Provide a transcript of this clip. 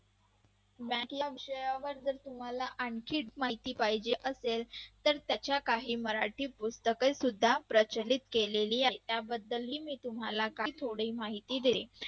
bank या विषयावर तुम्हाला आणखीच माहिती पाहिजे असेल तर त्याच्या काही मराठी पुस्तका सुद्धा प्रचलित केली आहेत. त्याबद्दलही तुम्हाला मी काही थोडी माहिती देते.